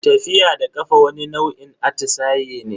Tafiya da kafa wani nau'in atisaye ne.